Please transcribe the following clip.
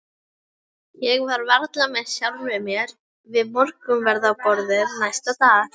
Ég var varla með sjálfri mér við morgunverðarborðið næsta dag.